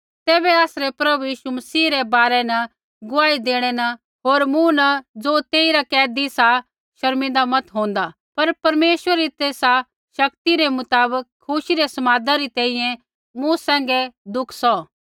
तैबै आसरै प्रभु यीशु मसीह रै बारै न गुआही देणै न होर मूँ न ज़ो तेइरा कैदी सा शर्मिन्दा मत होंदा पर परमेश्वरै री तेसा शक्ति रै मुताबक खुशी रै समादै री तैंईंयैं मूँ सैंघै दुख सौह